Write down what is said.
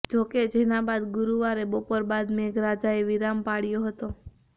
જોકે જેના બાદ ગુરૃવારે બપોર બાદ મેઘરાજાએ વિરામ પાળ્યો હતો